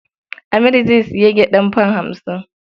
Amir zai sayi gyaɗar fam hamsin.